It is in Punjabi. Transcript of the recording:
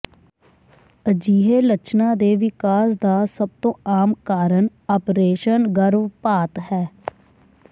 ਅਜਿਹੇ ਲੱਛਣਾਂ ਦੇ ਵਿਕਾਸ ਦਾ ਸਭ ਤੋਂ ਆਮ ਕਾਰਨ ਆਪ੍ਰੇਸ਼ਨ ਗਰਭਪਾਤ ਹੈ